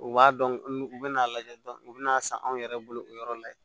U b'a dɔn n'u bɛna a lajɛ u bɛn'a san anw yɛrɛ bolo o yɔrɔ la yen